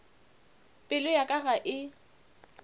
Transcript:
pelo ya ka ga e